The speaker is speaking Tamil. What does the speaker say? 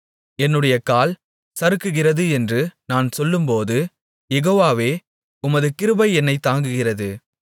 என்னுடைய கால் சறுக்குகிறது என்று நான் சொல்லும்போது யெகோவாவே உமது கிருபை என்னைத் தாங்குகிறது